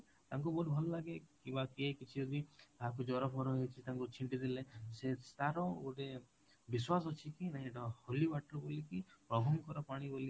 ତାଙ୍କୁ ବହୁତ ଭଲ ଲାଗେ କିଛି ଯଦି କାହାକୁ ଜର ହେଇଚି ତାଙ୍କୁ ଛିଟି ଦେଲେ ସେ ତାର ଗୋଟେ ବିଶ୍ୱାସ ଅଛି କି ନାଇଁ ଏଇଟା holy water ବୋଲି କି ପ୍ରଭୁଙ୍କର ପାଣି ବୋଲି କି